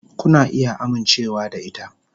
Kuna iya amincewa da ita.